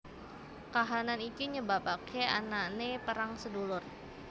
Kahanan iki nyebabake anane perang sedulur